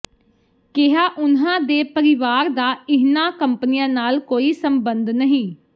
ਕਿਹਾ ਉਨ੍ਹਾਂ ਦੇ ਪਰਿਵਾਰ ਦਾ ਇਹਨਾਂ ਕੰਪਨੀਆਂ ਨਾਲ ਕੋਈ ਸੰਬੰਧ ਨਹੀਂ